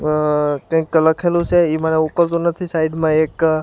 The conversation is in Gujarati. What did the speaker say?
અહ કંઈક લખેલુ છે ઈ મને ઉકલતું નથી સાઇડ માં એક--